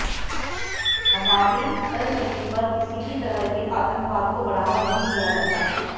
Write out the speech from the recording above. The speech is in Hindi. हमारी सरजमी पर किसी भी तरह के आतंकवाद को बढ़ावा नहीं दिया जाता